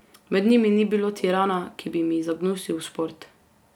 Med njimi ni bilo tirana, ki bi mi zagnusil šport.